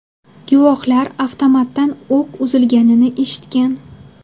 Guvohlar avtomatdan o‘q uzilganini eshitgan.